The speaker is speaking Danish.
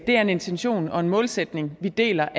det er en intention og en målsætning vi deler